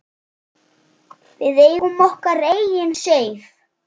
Við eigum okkar eigin Seif.